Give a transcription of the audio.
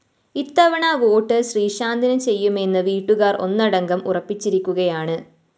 ഇത്തവണ വോട്ട്‌ ശ്രീശാന്തിന് ചെയ്യുമെന്ന് വീട്ടുകാര്‍ ഒന്നടങ്കം ഉറപ്പിച്ചിരിക്കുകയാണ്